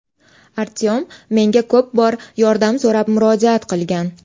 Artyom menga ko‘p bor yordam so‘rab murojaat qilgan.